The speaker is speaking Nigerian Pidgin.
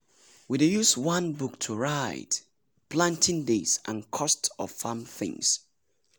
we dey use one book to write planting days and cost of farm things.⁷